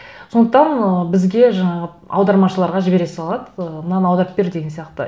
сондықтан ы бізге жаңағы аудармашыларға жібере салады ы мынаны аударып бер деген сияқты